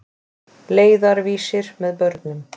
Leiðarvísir með börnum.